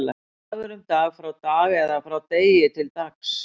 Dagur, um Dag, frá Dag eða frá Degi, til Dags.